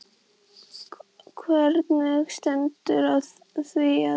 Hvernig stendur á því að